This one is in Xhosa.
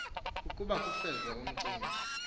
ukuba kufezwe umcimbi